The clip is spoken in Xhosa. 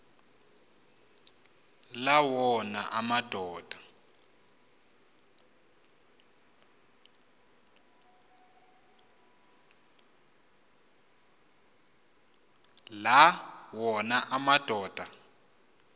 la wona amadoda